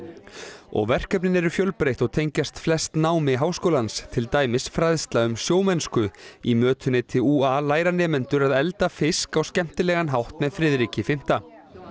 og verkefnin eru fjölbreytt og tengjast flest námi háskólans til dæmis fræðsla um sjómennsku í mötuneyti ú a læra nemendur að elda fisk á skemmtilegan hátt með Friðriki fimmta